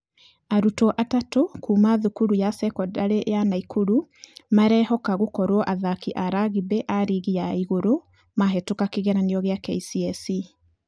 Arutwo atatũ kuuma thukuru ya sekondari ya nakuru marĩhoka gũkorwo athaki a rugby arigi ya igũrũ mahĩtũka kĩgeranio gĩa kcse.